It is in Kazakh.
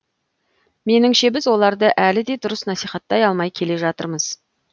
меніңше біз оларды әлі де дұрыс насихаттай алмай келе жатырмыз